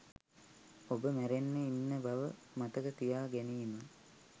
ඔබ මැරෙන්න ඉන්න බව මතක තියා ගැනීම